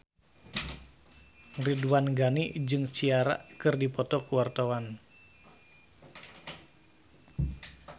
Ridwan Ghani jeung Ciara keur dipoto ku wartawan